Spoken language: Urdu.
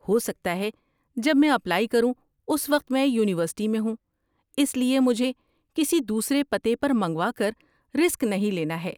ہو سکتا ہے جب میں اپلائی کروں اس وقت میں یونیورسٹی میں ہوں، اس لیے مجھے کسی دوسرے پتے پر منگوا کر رسک نہیں لینا ہے۔